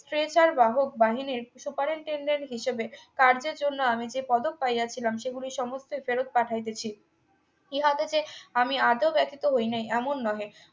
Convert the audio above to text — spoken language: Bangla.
pressure বাহক বাহিনীর superintendent হিসেবে কার্যের জন্য আমি যে পদক পাইয়াছিলাম সেগুলি সমস্ত ফেরত পাঠাইতেছি ইহা দেখে আমি আজও ব্যথিত হইনাই এমন নহে